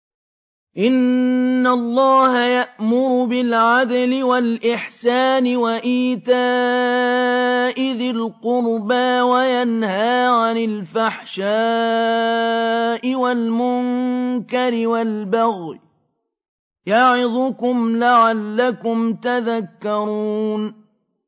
۞ إِنَّ اللَّهَ يَأْمُرُ بِالْعَدْلِ وَالْإِحْسَانِ وَإِيتَاءِ ذِي الْقُرْبَىٰ وَيَنْهَىٰ عَنِ الْفَحْشَاءِ وَالْمُنكَرِ وَالْبَغْيِ ۚ يَعِظُكُمْ لَعَلَّكُمْ تَذَكَّرُونَ